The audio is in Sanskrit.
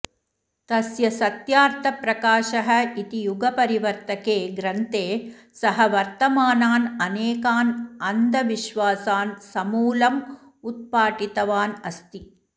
तस्य सत्यार्थप्रकाशः इति युगपरिवर्तके ग्रन्थे सः वर्तमानान् अनेकान् अन्धविश्वासान् समूलम् उत्पाटितवान् अस्ति